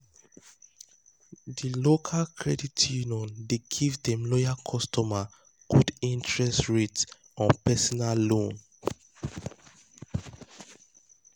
the local credit union dey give dem loyal customers good interest interest rates on personal um loans.